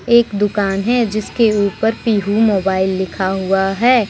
एक दुकान है जिसके ऊपर पीहू मोबाइल लिखा हुआ है।